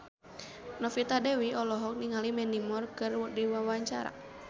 Novita Dewi olohok ningali Mandy Moore keur diwawancara